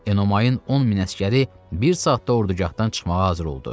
Enomayın 10 min əsgəri bir saatda ordugahdan çıxmağa hazır oldu.